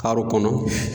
Karo kɔnɔ